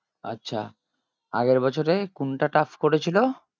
আচ্ছা আগের বছরে কোনটা tough করেছিল?